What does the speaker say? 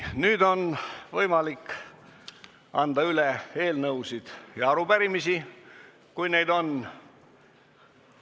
Nüüd on võimalik anda üle eelnõusid ja arupärimisi, kui neid on.